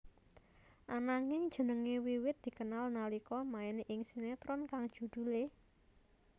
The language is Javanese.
Ananging jenengé wiwit dikenal nalika main ing sinetron kang judhulé